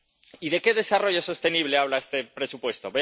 Y, ¿de qué desarrollo sostenible habla este presupuesto?